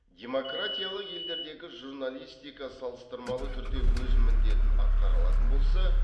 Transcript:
демократиялы елдердегі журналистика салыстырмалы түрде өз міндетін атқара алатын болса